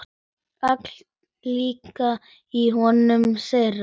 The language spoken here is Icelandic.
Allt lék í höndum þeirra.